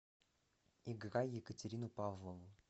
играй екатерину павлову